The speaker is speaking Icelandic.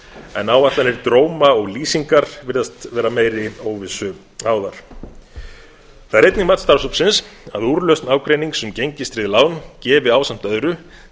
en áætlanir dróma og lýsingar virðast vera meiri óvissu háðar það er einnig mat starfshópsins að úrlausn ágreinings um gengistryggð lán gefi ásamt öðru